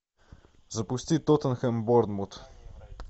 запусти тоттенхэм борнмут